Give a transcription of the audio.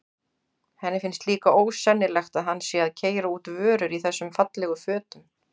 Henni finnst líka ósennilegt að hann sé að keyra út vörur í þessum fallegu fötum.